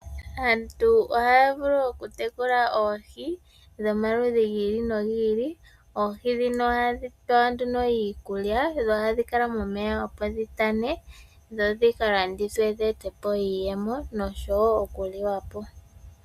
Aantu ohaya vulu okutekula oohi dhomaludhi gi ili nogi ili. Oohi dhino ohadhi pewa nduno iikulya dho ohadhi kala momeya opo dhitane dho dhika landithwe dhivule okweeta po iiyemo osho wo okuliwa po.